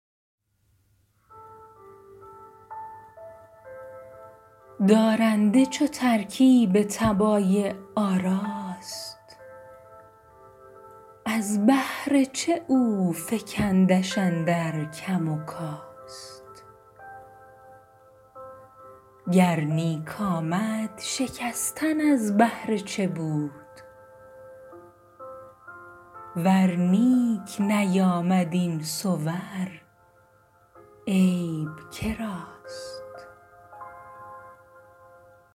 دارنده چو ترکیب طبایع آراست از بهر چه افکندش اندر کم و کاست گر نیک آمد شکستن از بهر چه بود ور نیک نیامد این صور عیب که راست